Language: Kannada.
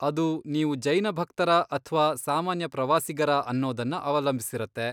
ಅದು ನೀವು ಜೈನ ಭಕ್ತರಾ ಅಥ್ವಾ ಸಾಮಾನ್ಯ ಪ್ರವಾಸಿಗರಾ ಅನ್ನೋದನ್ನ ಅವಲಂಬ್ಸಿರತ್ತೆ.